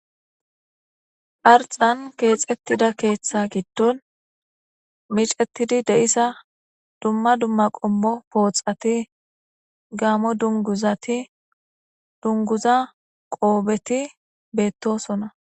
arxan keexettida keeththa giddon micetidi deissa dumma dumma qommo pooxati gaamo dunguzati dunguza qoobeti beettosona